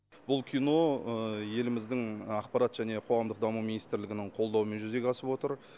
бұл кино еліміздің ақпарат және қоғамдық даму министрлігінің қолдауымен жүзеге асып отыр